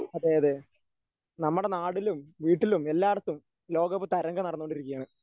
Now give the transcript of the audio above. അതെ അതെ. നമ്മുടെ നാട്ടിലും വീട്ടിലും എല്ലാടത്തും ലോകകപ്പ് തരംഗം നടന്നുകൊണ്ടിരിക്കുകയാണ്.